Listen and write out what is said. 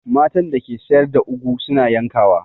Matan da ke sayar da ugwu su na yankawa.